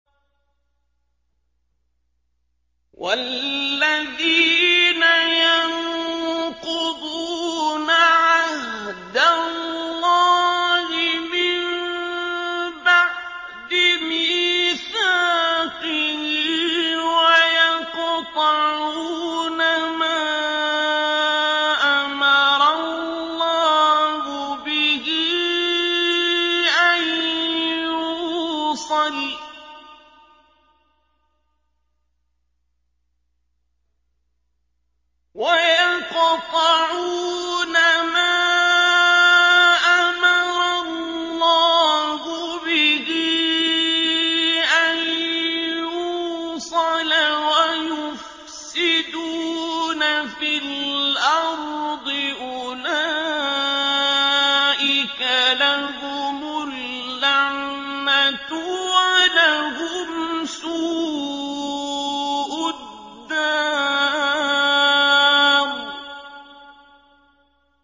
وَالَّذِينَ يَنقُضُونَ عَهْدَ اللَّهِ مِن بَعْدِ مِيثَاقِهِ وَيَقْطَعُونَ مَا أَمَرَ اللَّهُ بِهِ أَن يُوصَلَ وَيُفْسِدُونَ فِي الْأَرْضِ ۙ أُولَٰئِكَ لَهُمُ اللَّعْنَةُ وَلَهُمْ سُوءُ الدَّارِ